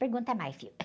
Pergunta mais, filho.